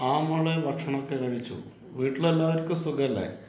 ആ മോളേ ഭക്ഷണമൊക്കെ കഴിച്ചു. വീട്ടിൽ എല്ലാവർക്കും സുഖമല്ലേ?